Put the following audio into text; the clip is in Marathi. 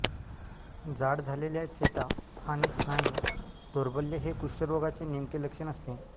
जाड झालेल्या चेता आणि स्नायू दौर्बल्य हे कुष्ठरोगाचे नेमके लक्षण असते